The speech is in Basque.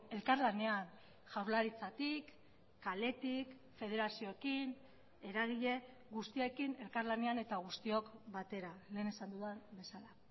elkarlanean jaurlaritzatik kaletik federazioekin eragile guztiekin elkarlanean eta guztiok batera lehen esan dudan bezala